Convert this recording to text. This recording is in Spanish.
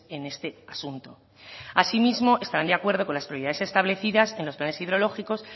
en este asunto asimismo estarán de acuerdo con las prioridades establecidas en los planes hidrológicos